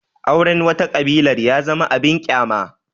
Auren wata ƙabilar ya zama abin ƙyama